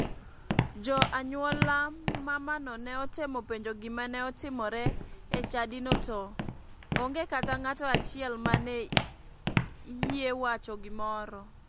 Jo anyuola mamano ne otemo penjo gima ne otimere e chadino to nge kata ng'ato achiel mane iyie wacho gimoro.